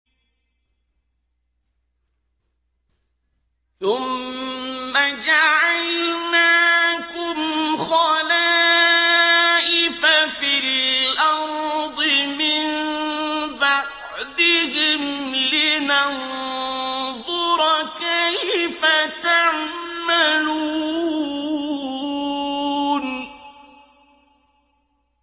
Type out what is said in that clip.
ثُمَّ جَعَلْنَاكُمْ خَلَائِفَ فِي الْأَرْضِ مِن بَعْدِهِمْ لِنَنظُرَ كَيْفَ تَعْمَلُونَ